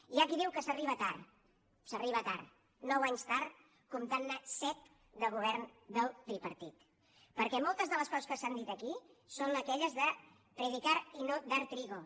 hi ha qui diu que s’arriba tard s’arriba tard nou anys tard comptantne set de govern del tripartit perquè moltes de les coses que s’han dit aquí són aquelles de predicar y no dar trigo